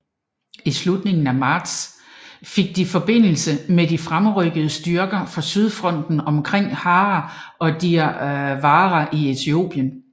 I slutningen af marts fik de forbindelse med de fremrykkende styrker fra Sydfronten omkring Harar og Dire Dawa i Etiopien